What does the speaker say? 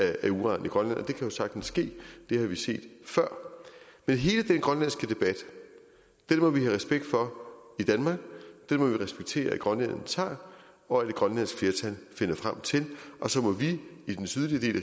af uran i grønland det kan jo sagtens ske det har vi set før men hele den grønlandske debat må vi have respekt for i danmark den må vi respektere at grønlænderne tager og et grønlandsk flertal finder frem til og så må vi i den sydlige del